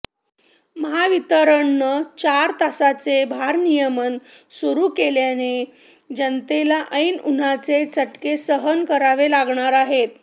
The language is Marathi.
महावितरणनं चार तासांचे भारनियमन सुरू केल्यानं जनतेला ऐन उन्हाचे चटके सहन करावे लागणार आहेत